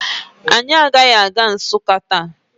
Anyị agaghị aga Nsụka taa